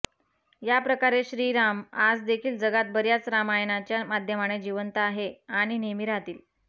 या प्रकारे श्रीराम आज देखील जगात बर्याच रामायणाच्या माध्यमाने जिवंत आहे आणि नेहमी राहतील